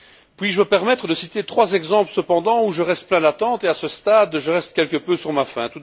Puis je me permettre de citer trois exemples cependant, où je reste plein d'attentes, où à ce stade, je reste quelque peu sur ma faim.